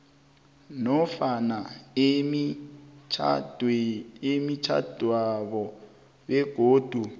nofana emitjhadwenabo begodu